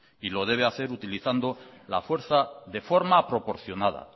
y lo debe hacer utilizando la fuerza de forma proporcionada